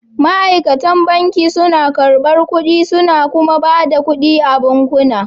Ma'aikatan banki suna karɓar kuɗi suna kuma ba da kuɗi a bankuna